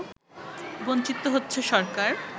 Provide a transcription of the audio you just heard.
বঞ্চিত হচ্ছে সরকার